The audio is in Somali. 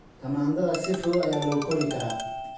Tamaandhada si fudud ayaa loo kori karaa.